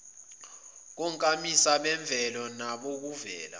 konkamisa bemvelo nabokuvela